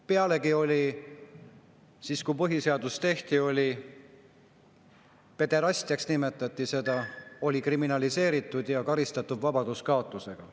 Pealegi, siis, kui põhiseadust tehti, nimetati seda pederastiaks, see oli kriminaliseeritud ja karistatav vabaduskaotusega.